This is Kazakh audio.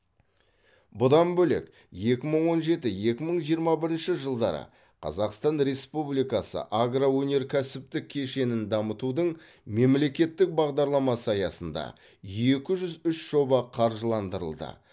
бұдан бөлек екі мың он жеті екі мың жиырма бірінші жылдары қазақстан республикасы агроөнеркәсіптік кешенін дамытудың мемлекеттік бағдарламасы аясында екі жүз үш жоба қаржыландырылды